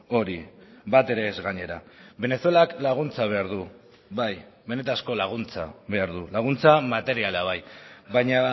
hori batere ez gainera venezuelak laguntza behar du bai benetako laguntza behar du laguntza materiala bai baina